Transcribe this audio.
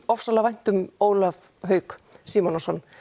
vænt um Ólaf Hauk Símonarson